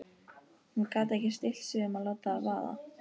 Hún gat ekki stillt sig um að láta það vaða.